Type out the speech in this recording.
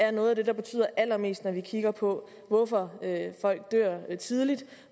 er noget af det der betyder allermest når vi kigger på hvorfor folk dør tidligt